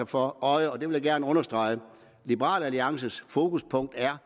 for øje og det vil jeg gerne understrege nemlig at liberal alliances fokuspunkt er